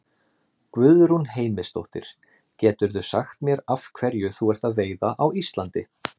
Guðrún Heimisdóttir: Geturðu sagt mér af hverju þú ert að veiða á Íslandi?